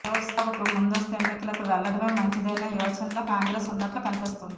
లోక్సభకు ముందస్తు ఎన్నికలకు వెళ్లడమే మంచిదనే యోచనలో కాంగ్రెస్ ఉన్న ట్లు కన్పిస్తోంది